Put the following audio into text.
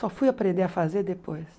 Só fui aprender a fazer depois.